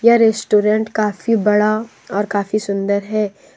Restaurant काफी बड़ा और काफी सुंदर है।